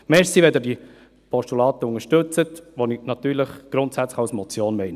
Danke, wenn Sie die Postulate unterstützen, die ich natürlich grundsätzlich als Motion meine.